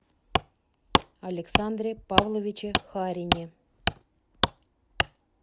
александре павловиче харине